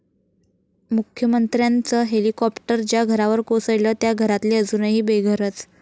मुख्यमंत्र्यांचं हेलिकाॅप्टर 'ज्या' घरावर कोसळलं, 'त्या' घरातले अजूनही बेघरच!